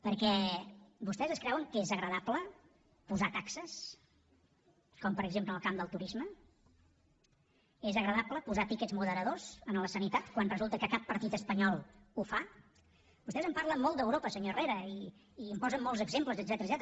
perquè vostès es creuen que és agradable posar taxes com per exemple en el camp del turisme és agradable posar tiquets moderadors a la sanitat quan resulta que cap partit espanyol ho fa vostès en parlen molt d’europa senyor herrera i en posen molts exemples etcètera